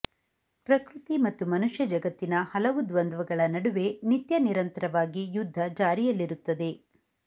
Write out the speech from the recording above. ಪ್ರಕೃತಿ ಮತ್ತು ಮನುಷ್ಯಜಗತ್ತಿನ ಹಲವು ದ್ವಂದ್ವಗಳ ನಡುವೆ ನಿತ್ಯನಿರಂತರವಾಗಿ ಯುದ್ಧ ಜಾರಿಯಲ್ಲಿರುತ್ತದೆ